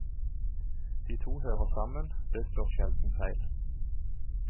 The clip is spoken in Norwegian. De to hører sammen, det slår sjelden feil.